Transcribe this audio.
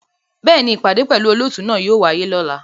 Bẹ́ẹ̀ni, ipade pẹlu olootu náa yóò waye lọla